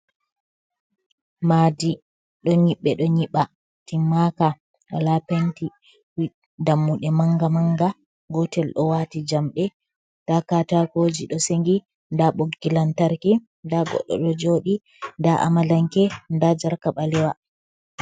Madi ɗo nyiɓɓe ɗo nyiɓa timmaka wala penti dammuɗe manga manga, gotel ɗo wati jamɗe, nda katakoji ɗo sengi, nda ɓoggilantarki, nda goɗɗo ɗo joɗi, nda amalanke, ndajarka ɓalewa.